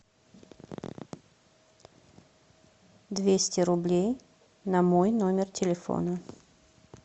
двести рублей на мой номер телефона